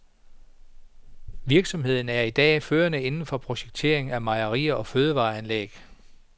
Virksomheden er i dag førende inden for projektering af mejerier og fødevareanlæg.